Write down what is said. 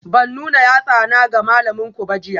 Ban nuna yatsana ga malaminku ba jiya?